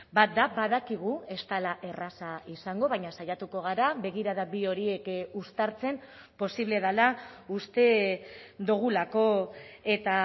bat da badakigu ez dela erraza izango baina saiatuko gara begirada bi horiek uztartzen posible dela uste dugulako eta